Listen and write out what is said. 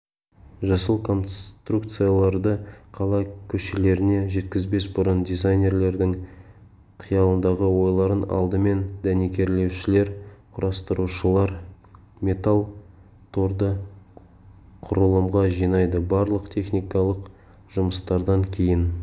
жасыл конструкцияларды қала көшелеріне жеткізбес бұрын дизайнерлердің қиялындағы ойларын алдымен дәнекерлеушілер құрастырушылар металл торды құрылымға жинайды барлық техникалық жұмыстардан кейін